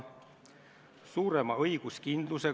See on teie seisukoht.